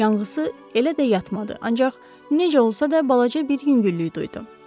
Yanğısı elə də yatmadı, ancaq necə olsa da balaca bir yüngüllük duydu.